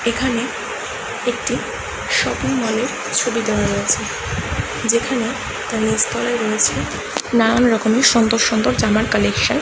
এইখানে একটি shopping mall -এর ছবি দেওয়া রয়েছে যেখানে তার নিচ তলায় রয়েছে নানান রকমের সুন্দর সুন্দর জামার কালেকশন ।